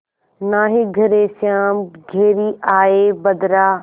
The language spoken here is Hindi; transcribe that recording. नाहीं घरे श्याम घेरि आये बदरा